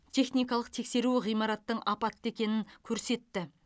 техникалық тексеру ғимараттың апатты екенін көрсетті